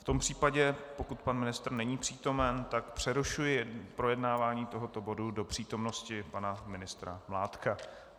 V tom případě, pokud pan ministr není přítomen, tak přerušuji projednávání tohoto bodu do přítomnosti pana ministra Mládka.